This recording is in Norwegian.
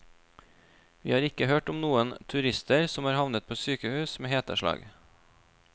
Vi har ikke hørt om noen turister som har havnet på sykehus med heteslag.